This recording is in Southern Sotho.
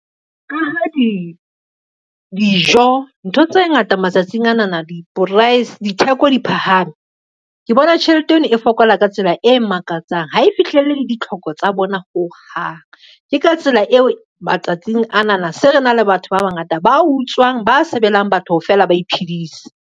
Dijo ntho tse ngata matsatsing ana na ditheko di phahame, ke bona tjhelete eno e fokola ka tsela e makatsang ha e fihlelle ditlhoko tsa bona ho hang. Ke ka tsela eo matsatsing ana na se re na le batho ba bangata ba utswang, ba sebelang batho hore fela ba iphedise.